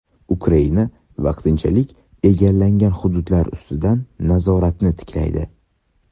Ukraina vaqtinchalik egallangan hududlar ustidan nazoratini tiklaydi.